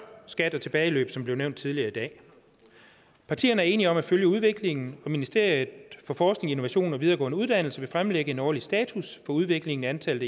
skat og tilbageløb som blev nævnt tidligere i dag partierne er enige om at følge udviklingen og ministeriet for forskning innovation og videregående uddannelser vil fremlægge en årlig status for udviklingen i antallet